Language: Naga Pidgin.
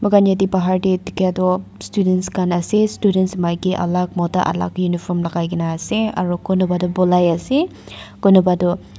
ite bahar teh dikhia tu students khan ase students maiki alak mota alak uniform lagaina ase aro kunupatu polai ase kunupatu--